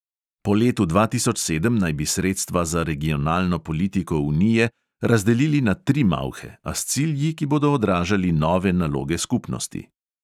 Po letu dva tisoč sedem naj bi sredstva za regionalno politiko unije razdelili na tri malhe, a s cilji, ki bodo odražali nove naloge skupnosti.